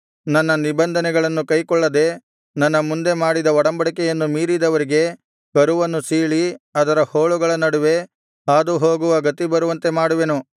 ನನ್ನ ನಿಬಂಧನೆಗಳನ್ನು ಕೈಗೊಳ್ಳದೆ ನನ್ನ ಮುಂದೆ ಮಾಡಿದ ಒಡಂಬಡಿಕೆಯನ್ನು ಮೀರಿದವರಿಗೆ ಕರುವನ್ನು ಸೀಳಿ ಅದರ ಹೋಳುಗಳ ನಡುವೆ ಹಾದುಹೋಗುವ ಗತಿ ಬರುವಂತೆ ಮಾಡುವೆನು